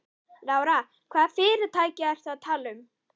Lára: Hvaða fyrirtæki ertu að tala um þarna?